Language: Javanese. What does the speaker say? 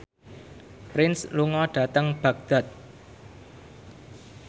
Prince lunga dhateng Baghdad